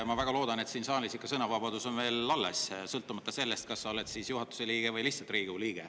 Ma väga loodan, et siin saalis ikka sõnavabadus on veel alles, sõltumata sellest, kas sa oled juhatuse liige või lihtsalt Riigikogu liige.